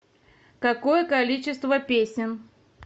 какое количество песен